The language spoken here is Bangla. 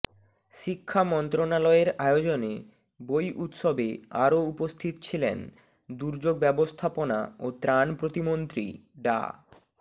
শিক্ষা মন্ত্রণালয়ের আয়োজনে বই উৎসবে আরও উপস্থিত ছিলেন দুর্যোগ ব্যবস্থাপনা ও ত্রাণ প্রতিমন্ত্রী ডা